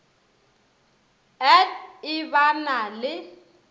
et e ba na le